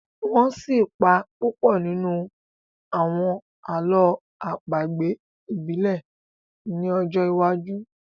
wón sí pá Pupo nínú àwọn àlọ́ àpagbè ibile ni ojó wájú.